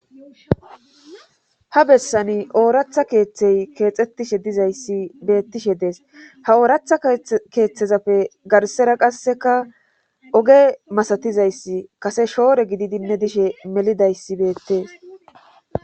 ha bessani ooratha keeththey keexettishe dizayssi beettishe dees ha ooratha keeththezappe garsera qasseka oge masatizayssi kase shoore gididinne dishe melidayssi beettees